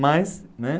Mas, né?